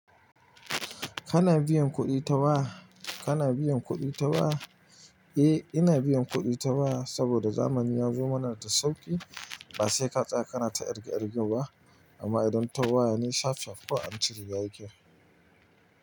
Kana biyan kuɗi ta waya? Kana biyan kuɗi ta waya? Eh, ina biyan kuɗi ta waya saboda zamani ya zo mana da sauƙi. Ba sai ka tsaya kana ta ƙirge ƙirge ba amma idan ta waya ne sharp sharp kawai an cire yake.